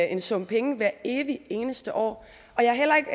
en sum penge hvert evig eneste år jeg er heller ikke